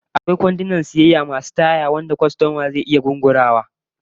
Akwai kwandunan sayayya masu taya da kwastoma zai iya turawa yana zuba kayan sa musamman in suna da yawa